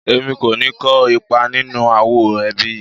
Èmi kò ní kó ipa nínú ááwọ̀ ẹbí yìí